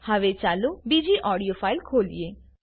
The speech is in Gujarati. હવે ચાલો બીજી ઓડીયો ફાઈલ ખોલીએ